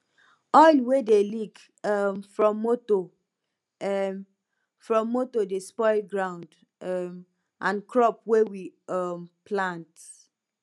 oil wey dey leak um from motor um from motor dey spoil ground um and crop wey we um plant